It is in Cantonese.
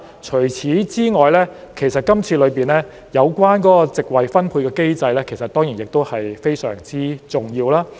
除此之外，今次建議中的席位分配機制其實亦非常重要。